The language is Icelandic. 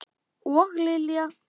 Og Lilja!